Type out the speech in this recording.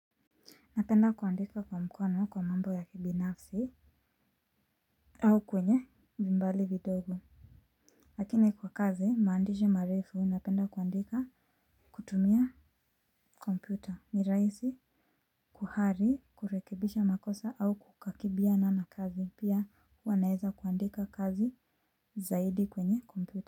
Napenda kuandika kwa mkono kwa mambo ya kibinafsi. Au kwenye vimbali vidogo lakini kwa kazi maandishi marefu, napenda kuandika kutumia kompyuta ni rahisi. Kuhari kurekibisha makosa au kukakibiana na kazi pia wanaeza kuandika kazi zaidi kwenye kompyuta.